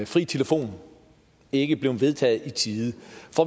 fri telefon ikke blev vedtaget i tide